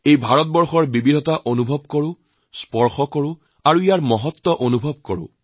ভাৰতৰ এই বিচ্ছিন্নতাক অনুভৱ কৰক তাকে স্পৰ্শ কৰক তাৰ গৌৰৱক উপলব্ধি কৰক